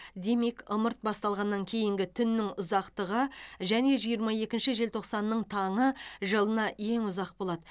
демек ымырт басталғаннан кейінгі түннің ұзақтығы және жиырма екінші желтоқсанның таңы жылына ең ұзақ болады